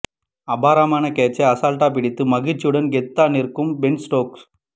அபாரமான கேட்ச்சை அசால்ட்டா பிடித்து மகிழ்ச்சியுடன் கெத்தா நிற்கும் பென் ஸ்டோக்ஸ்